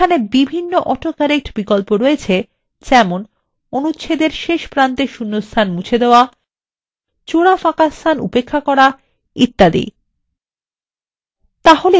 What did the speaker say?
এইখানে বিভিন্ন auto correct বিকল্প রয়েছে যেমন অনুচ্ছেদের শেষ ও প্রারম্ভে শূণ্যস্থান মুছে ফেলুন জোড়া ফাঁকাস্থান উপেক্ষাকরা এবং ইত্যাদি